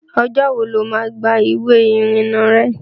Ọjọ́ wo ló má gba ìwé ìrìnà rẹ?